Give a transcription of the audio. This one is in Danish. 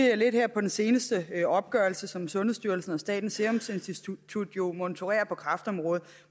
jeg lidt på den seneste opgørelse som sundhedsstyrelsen og statens serum institut jo monitorerer på kræftområdet